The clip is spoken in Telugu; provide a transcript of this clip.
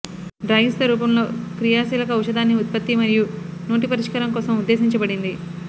డ్రాగీస్తో రూపంలో క్రియాశీలక ఔషధాన్ని ఉత్పత్తి మరియు నోటి పరిష్కారం కోసం ఉద్దేశించబడింది